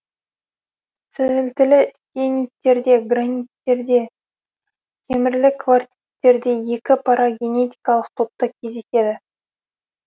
сілтілі сиениттерде граниттерде темірлі кварциттерде екі парагенетикалық топта кездеседі